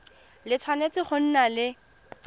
le tshwanetse go nna le